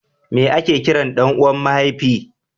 meye a ke kiran ɗan uwan mahaifi?